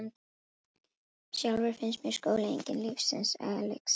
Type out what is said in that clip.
Sjálfri finnst mér skóli enginn lífsins elexír.